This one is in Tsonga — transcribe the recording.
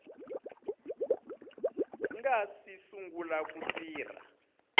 nga si sungula ku tirha